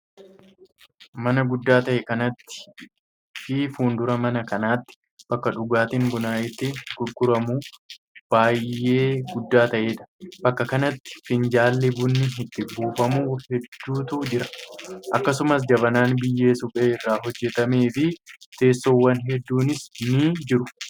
Mana guddaa ta'e kanatti fi fuuldura mana kanaatti ,bakka dhugaatiin bunaa itti gurguramu baay'ee guddaa ta'ee dha. Bakka kanatti finjaalli bunni itti buufamu heedduutu jira. Akkasumas jabanaan biyyee suphee irraa hojjatamee fi teessoowwan hedduunis ni jiru.